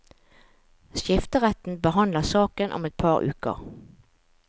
Skifteretten behandler saken om et par uker.